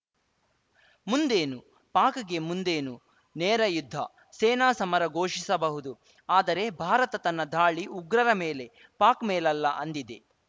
ಮುಂದೇನು ಪಾಕ್‌ಗೆ ಮುಂದೇನು ನೇರ ಯುದ್ಧ ಸೇನಾ ಸಮರ ಘೋಷಿಸಬಹುದು ಆದರೆ ಭಾರತ ತನ್ನ ಧಾಳಿ ಉಗ್ರರ ಮೇಲೆ ಪಾಕ್‌ ಮೇಲಲ್ಲ ಅಂದಿದೆ